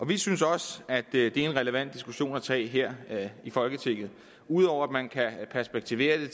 vi synes også at det er en relevant diskussion at tage her i folketinget ud over at man kan perspektivere det